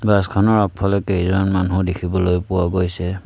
বাছখনৰ আগফালে কেইজন মানুহ দেখিবলৈ পোৱা গৈছে।